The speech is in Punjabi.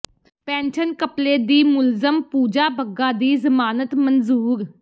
ਪੈਨਸ਼ਨ ਘਪਲੇ ਦੀ ਮੁਲਜ਼ਮ ਪੂਜਾ ਬੱਗਾ ਦੀ ਜ਼ਮਾਨਤ ਮਨਜ਼ੂਰ